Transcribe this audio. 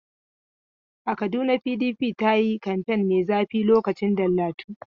A Kaduna PDP ta yi kamfen mai zafi lokacin Dallatu.